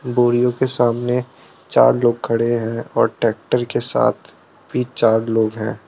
बोरियो के सामने चार लोग खड़े हैं और ट्रैक्टर के साथ भी चार लोग हैं।